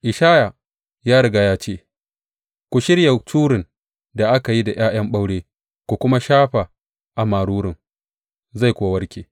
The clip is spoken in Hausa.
Ishaya ya riga ya ce, Ku shirya curin da aka yi da ’ya’yan ɓaure ku kuma shafa a marurun, zai kuwa warke.